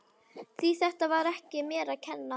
Því þetta var ekki mér að kenna.